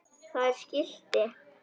Það er skilti.